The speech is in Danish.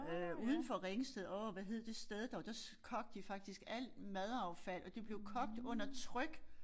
Øh udenfor Ringsted åh hvad hed det sted dog der kogte de faktisk alt madaffald og det blev kogt under tryk